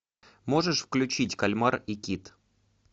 можешь включить кальмар и кит